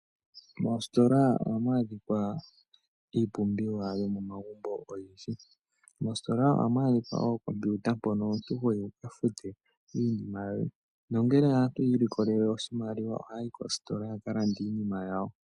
Moostola ohamu adhikwa iipumbiwa yo mo magumbo oyindji. Moostola ohamu adhika ookomputa mpono omuntu ho ya wu fute iinima yoye, nongele aantu yiilikola oshimaliwa ohaayi kostola ya ka lande iinima yawo.